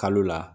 Kalo la